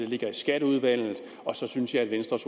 ligge i skatteudvalget og så synes jeg at venstres